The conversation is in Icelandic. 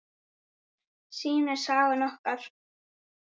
Það sýnir sagan okkur.